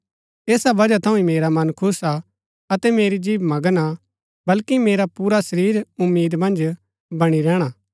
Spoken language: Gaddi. ऐसा वजह थऊँ ही मेरा मन खुश हा अतै मेरी जीभ मगन हा बल्कि मेरा पुरा शरीर उम्मीद मन्ज बणी रैहणा